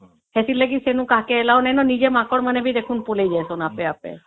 ସେଥି ଲାଗି କାହାକୁ allow ନାହିଁ ନା ଆଉ ମାଙ୍କଡ ମାନେ ବି ଦେଖୁନ ପଳେଇ ଯାଉଛନ ଆପେ ଆପେ